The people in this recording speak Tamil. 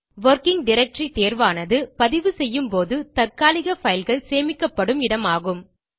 வொர்க்கிங் டைரக்டரி தேர்வானது பதிவு செய்யும் போது தற்காலிக fileகள் சேமிக்கப்படும் இடமாகும்